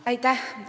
Aitäh!